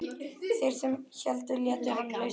Þeir sem héldu létu hann lausan.